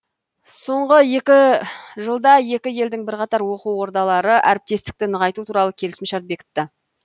соңғы екі жылда екі елдің бірқатар оқу ордалары әріптестікті нығайту туралы келісімшарт бекітті